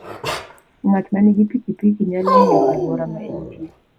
Ng'at ma nigi pikipiki nyalo ng'iyo alwora ma entie.